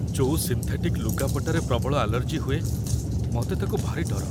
ଯୋଉ ସିନ୍ଥେଟିକ୍‌ ଲୁଗାପଟାରେ ପ୍ରବଳ ଆଲର୍ଜି ହୁଏ, ମତେ ତାକୁ ଭାରି ଡର ।